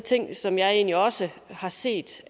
ting som jeg egentlig også har set